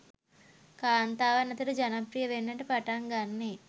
කාන්තාවන් අතර ජනප්‍රිය වෙන්නට පටන් ගන්නේ